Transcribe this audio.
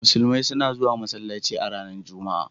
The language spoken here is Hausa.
Musulmi suna zuwan masallaci a ranan Juma'a.